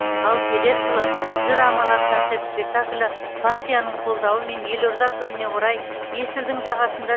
ал келер жылы жыр аманат концерт спектаклі партияның қолдауымен елорда күніне орай есілдің жағасында